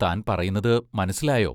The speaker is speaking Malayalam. താൻ പറയുന്നതു മനസ്സിലായോ?